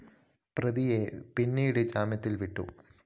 പ്രതിയെ പിന്നീട് ജാമ്യത്തില്‍ വിട്ടു